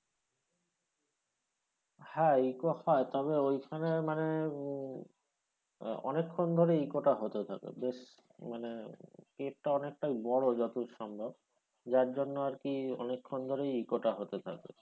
হ্যাঁ echo হয় তবে ওইখানে মানে আহ অনেকক্ষণ ধরে echo টা হতে থাকে বেশ মানে কেপটাউন একটা বড় যতদূর সম্ভব যার জন্য আরকি অনেকক্ষণ ধরে আরকি echo টা হতে থাকে।